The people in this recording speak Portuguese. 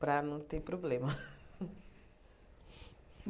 Para não ter problema.